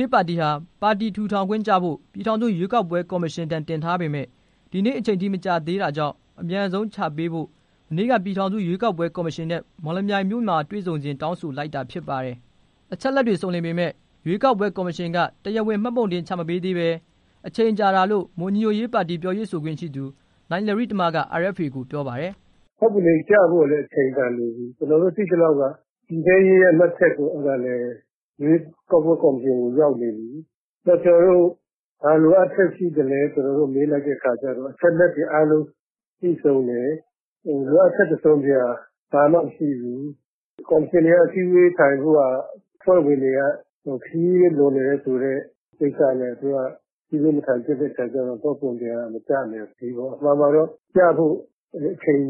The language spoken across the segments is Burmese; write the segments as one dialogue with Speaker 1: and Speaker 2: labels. Speaker 1: ရေးပါတီဟာ ပါတီထူထောင်ခွင့်ကျဖို့ ပြည်ထောင်စုရွေးကောက်ပွဲကော်မရှင်ထံ တင်ထားပေမယ့် ဒီနေ့အချိန်ထိ မကျသေးတာကြောင့် အမြန်ဆုံးချပေးဖို့ မနေ့က ပြည်ထောင်စုရွေးကောက်ပွဲကော်မရှင်နဲ့ မော်လမြို့မှာ တွေ့ဆုံစဉ် တောင်းဆိုလိုက်တာဖြစ်ပါတယ်။ အချက်အလက်တွေ စုံလင်ပေမယ့် ရွေးကောက်ပွဲကော်မရှင်က တရားဝင် မှတ်ပုံတင်ချမပေးသေးပဲ အချိန်ကြာတာလို့ မွန်ညီညွှတ်ရေးပါတီပြောရေးဆိုခွင့်ရှိသူ နိုင်လယိတမ က RFA ကို ပြောပါတယ်။
Speaker 2: "မှတ်ပုံတင်ကျဖို့လည်း အချိန်တန်ပြီ ကျွန်တော်တို့ သိသလောက်က ပြည်ထဲရေးရဲ့မှတ်ချက် ရွေးကောက်ပွဲကော်မ ရှင်ထံရောက်နေပြီ၊ နောက်ကျွန်တော်တို့ ဘာလိုအပ်ချက်ရှိသလဲ မေးလိုက်တဲ့အခါကျတော့ လိုအပ်ချက်ရှိတဲ့ အချက်အလက်တွေ အားလုံးပြည့်စုံတယ်၊ လိုအပ်ချက် တစ်စုံတစ်ရာ ဘာမှမရှိဘူး၊ ကော်မရှင်က အစည်းအဝေး ထိုင်ဖို့ရာ အဖွဲ့ ဝင်တွေ ခရီးလွန်နေတာဆိုတဲ့ကိစ္စနဲ့ သူတို့က အစည်းအဝေးမထိုင်ဖြစ်တဲ့အခါကျ မှတ်ပုံတင်က မကျနိုင်သေးဘူးပေါ့။ အမှန်မှာတော့ ကျဖို့အချိန်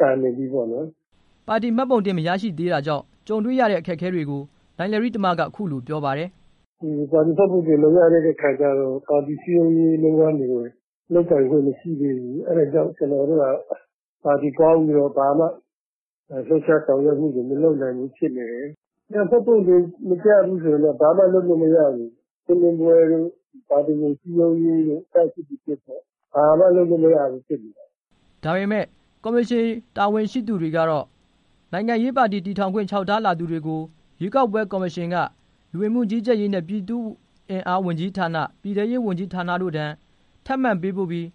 Speaker 2: တန်နေပြီပေါ့နော်
Speaker 1: " ပါတီမှတ်ပုံတင်မရရှိသေးတာကြောင့် ကြုံတေ့ွရတဲ့ အခက်အခဲတွေကို နိုင်လယိတမ က အခုလိုပြောပါတယ်။ "
Speaker 2: ပါတီမှတ်ပုံတင်မရသေးတဲ့အခါကျတော့ ပါတီစည်းလုံးရေးလုပ်ငန်းတွေ လုပ်ကိုင်ခွင့်မရှိသေးဘူး အဲ့တာကြောင့် ပါတီကောင်းပြီးတော့ဘာမှ လှူပ်ခြားဆောင်ရွက်မူတွေ မလုပ်နိုင်ဘူး ဖြစ်နေတယ်။ မှတ်ပုံတင်မကျဘူးဆိုရင်တော့ ဘာမှလုပ်မရဘူး ရှင်းလင်းရေးတို့ ပါတီစည်းလုံးရေးတို့ ဘာမှလုပ်မရဘူး ဖြစ်နေတယ်
Speaker 1: " ဒါပေမဲ့ ကော်မရှင်တာဝန်ရှိသူတွေကတော့ နိုင်ငံရေးပါတီတည်ထောင်ခွင့် လျှောက်ထားလာတာတွေကို ရွေးကောက်ပွဲကော်မရှင်က လူဝင်မှုကြီးကြပ်ရေးနဲ့ ပြည်သူ့အင်အားဝန်ကြီးဌာန၊ ပြည်ထဲရေးဝန်ကြီးတို့ထံ ထပ်မံပေးပို့ပြီး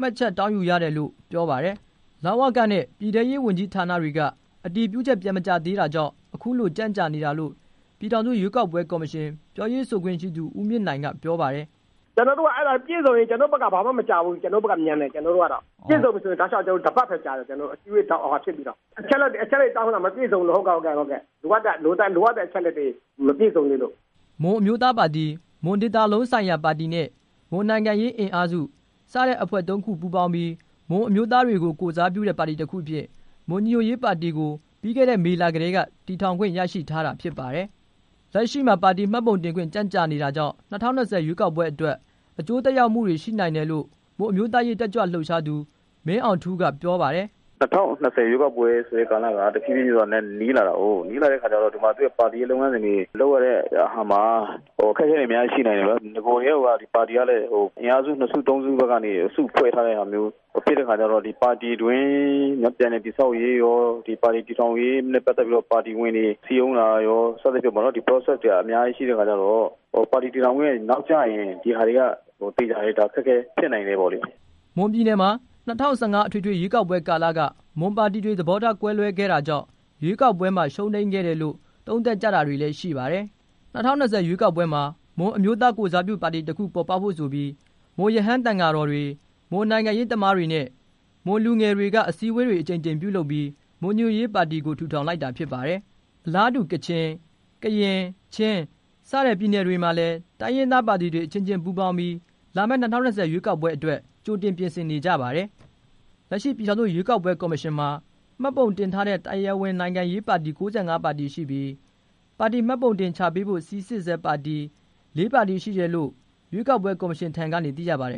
Speaker 1: မှတ်ချက်တောင်းယူရတယ်လို့ ပြောပါတယ်။ လဝကနဲ့ ပြည်ထဲရေးဌာနတွေက အတည်ပြုချက် ပြန်မကျလာသေးတာကြောင့် အခုလိုကြန့်ကြာနေတာလို့ ပြည်ထောင်စုရွေးကောက်ပွဲကော်မရှင် ပြောရေးဆိုခွင့်ရှိသူ ဦးမြင့်နိုင် က ပြောပါတယ်။
Speaker 3: "ကျွန်တော်တို့ အဲဒါပြည့်စုံရင် ကျွန်တော်တို့ဘက်က ဘာမှမကြာဘူး ကျွန်တော်တို့ဘက်ကတော့ မြန်တယ်၊ ကျွန်တော်တို့ဘက်ကတော့ ပြည့်စုံရင် တောက်လျှောက်တစ်ပတ်ပဲကြာတယ်၊ အစည်းအဝေးတွေလုပ်ပြီးတော့ အချက်အလက်တွေတောင်းတာ မပြည့်စုံသေးလို့ လိုအပ်တဲ့ အချက်အလက်တွေ မပြည့်စုံသေးလို့
Speaker 1: " မွန်အမျိုးသားပါတီ၊ မွန်ဒေသလုံးဆိုရာပါတီနဲ့ မွန်နိုင်ငံရေးအင်အားစု စတဲ့အဖွဲ့ ၃ခုပူးပေါင်းပြီး မွန်အမျိုးသားတွေကို ကိုယ်စားပြုတဲ့ပါတီတစ်ခုအဖြစ် မွန်ညီညွတ်ရေးပါတီကို ပြီးခဲ့တဲ့မေလကတည်းက တည်ထောင်ခွင့် ရရှိထားတာ ဖြစ်ပါတယ်။ လက်ရှိမှာ ပါတီမှတ်ပုံတင်ခွင့် ကြန့်ကြာနေတာကြောင့် ၂၀၂၀ ရွေးကောက်ပွဲအတွက် အကျိုးသက်ရောက်မှုတွေရှိနိုင်တယ်လို့ မွန်အမျိုးသားရေးတက်ကြွလှုပ်ရှားသူ မင်းအောင်ထူး က ပြောပါတယ်။
Speaker 3: " ၂၀၂၀ရွေးကောက်ပွဲဆိုတဲ့ ရွေးကောက်ပွဲကာလဟာ တဖြည်းဖြည်းနဲ့ နီးလာတဲ့အခါကျတော့ သူ့ပါတီရဲ့လုပ်ငန်း စဉ်တွေ လုပ်ရတဲ့အခါမှာ အခတ်အခဲတွေ အများကြီးရှိနိုင်တယ် နဂိုကတည်းကိုက ဒီပါတီကလည်း အင်အားစု နှစ်စုသုံးစုဘက်ကနေ စုဖွဲ့ထားတဲ့ ဟာမျိုးဖြစ်တဲ့အခါကျတော့ ဒီပါတီ တွင်းပြန်လည်တည်ဆောက်ရေးရော ပါတီပြန်ထူထောင်ရေးနဲ့ ပတ်သတ်ပြီးတော့ ဒီပါတီဝင်တွေ စည်းရုံးတာရော စသဖြင့် ဒီပရောဆက်တွေက အများကြီးရှိတဲ့အခါကျတော့ ပါတီတည်ထောင်ခွင့်နောက်ကျရင် ဒီဟာတွေကသေချာတယ် ဒါတွေက အခက်အခဲ ဖြစ်နိုင်တယ်ပေါ့လေ
Speaker 1: " မွန်ပြည်နယ်မှာ ၂၀၁၅အထွေထွေရွေးကောက်ပွဲကာလက မွန်ပါတီတွေ သဘောထားကွဲလွဲခဲ့တာကြောင့် ရွေးကောက်ပွဲမှာ ရှုံးနိမ်ခဲ့တယ်လို့ သုံးသပ်ကြတာရှိပါတယ်။ ၂၀၂၀ ရွေးကောက်ပွဲမှာ မွန်အမျိုးသားကိုယ်စားပြုပါတီ တစ်ခုပေါ်ပေါက်ဖို့ဆိုပြီး မွန်ရဟန်းသံဃာတော်တွေ၊ မွန်နိုင်ငံရေးသမားတွေနဲ့ မွန်လူငယ်တွေက အစည်းအဝေးတွေ အကြိမ်ကြိမ် ပြုလုပ်ပြီး မွန်ညီညွတ်ရေးပါတီကို ထူထောင်လိုက်တာဖြစ်ပါတယ်။ အလားတူ ကချင်၊ ကရင်၊ ချင်း စတဲ့ ပြည်နယ်တွေမှာလည်း တိုင်းရင်းသားပါတီတွေ အချင်းချင်းပူးပေါင်းပြီး လာမယ့်၂၀၂၀ရွေးကောက်ပွဲအတွက် ကြိုတင်ပြင်ဆင်နေကြပါတယ်။ လက်ရှိပြည်ထောင်စုရွေးကောက်ပွဲကော်မရှင်မှာ မှတ်ပုံတင်ထားတဲ့ တရားဝင်နိုင်ငံရေးပါတီ ၉၅ပါတီရှိပြီး ပါတီမှတ်ပုံတင်ချပေးဖို့ စိစစ်ဆဲပါတီ လေးခုရှိတယ်လို့ ရွေးကောက်ပွဲကော်မရှင်ထံကနေ သိရပါတယ်